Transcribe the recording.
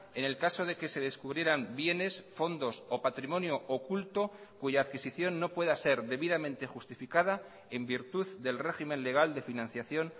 en el caso de que se descubrieran bienes fondos o patrimonio oculto cuya adquisición no pueda ser debidamente justificada en virtud del régimen legal de financiación